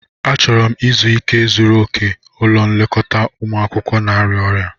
Achọrọ m izu ike zuru oke ulọ nlekota umụ akwukwo na-arịa ọrịa.